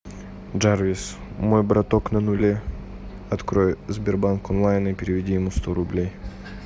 джарвис мой браток на нуле открой сбербанк онлайн и переведи ему сто рублей